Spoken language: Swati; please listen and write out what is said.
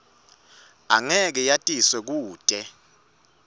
angeke yatiswe kute